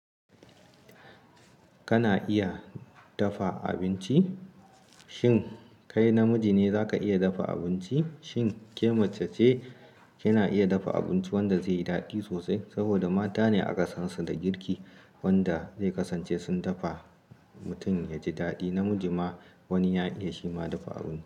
Kana iya dafa abinci? Shin kai namiji ne za ka iya dafa abinci? Shin ke mace ce kina iya dafa abinci wanda zai yi daɗi sosai? Saboda mata ne a ƙasansu da girki wanda zai kasance sun dafa mutum ya ji daɗi. Namiji ma wani ya iya shi ma dafa abinci.